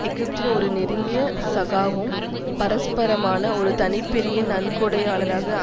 எகிப்தின் ஒரு நெருங்கிய சகாவும் பரஸ்பரமான ஒர தனிப்பெரிய நன்கொடையாளராக